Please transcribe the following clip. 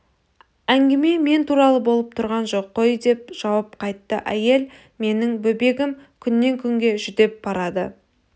әңгіме мен туралы болып тұрған жоқ қой деп жауап қатты әйел менің бөбегім күннен күнге жүдеп барады